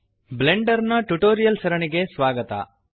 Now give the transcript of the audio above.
Blender tutorial ಸರಣಿಗೆ ಸ್ವಾಗತ